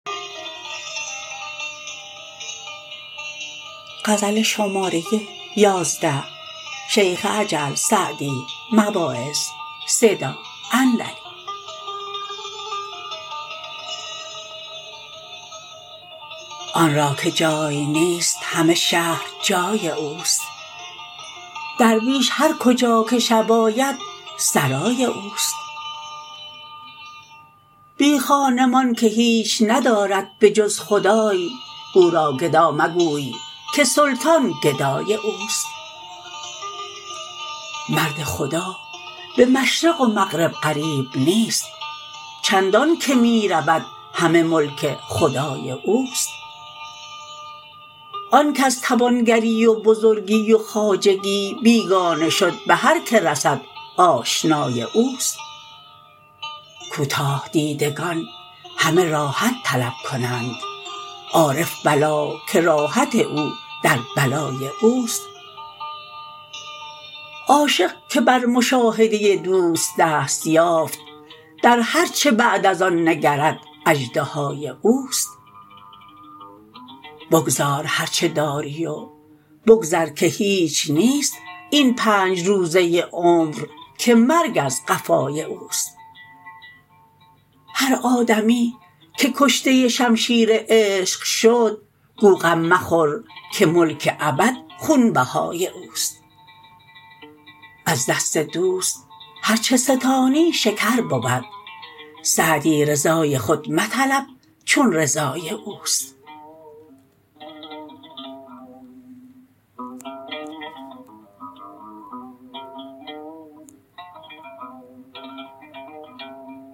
آن را که جای نیست همه شهر جای اوست درویش هر کجا که شب آید سرای اوست بی خانمان که هیچ ندارد به جز خدای او را گدا مگوی که سلطان گدای اوست مرد خدا به مشرق و مغرب غریب نیست چندان که می رود همه ملک خدای اوست آن کز توانگری و بزرگی و خواجگی بیگانه شد به هر که رسد آشنای اوست کوتاه دیدگان همه راحت طلب کنند عارف بلا که راحت او در بلای اوست عاشق که بر مشاهده دوست دست یافت در هر چه بعد از آن نگرد اژدهای اوست بگذار هر چه داری و بگذر که هیچ نیست این پنج روزه عمر که مرگ از قفای اوست هر آدمی که کشته شمشیر عشق شد گو غم مخور که ملک ابد خونبهای اوست از دست دوست هر چه ستانی شکر بود سعدی رضای خود مطلب چون رضای اوست